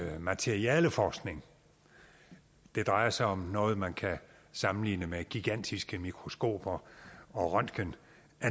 materialeforskning det drejer sig om noget man kan sammenligne med gigantiske mikroskoper og røntgenanlæg